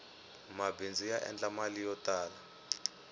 mabindzu ya endla mali yo tala